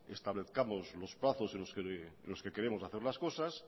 establezcamos los plazos en los que queremos hacer las cosas